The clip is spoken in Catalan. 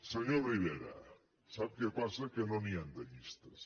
senyor rivera sap què passa que no n’hi han de llistes